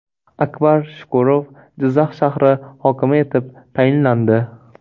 Akbar Shukurov Jizzax shahr i hokimi etib tayinlandi.